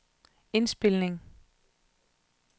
indspilning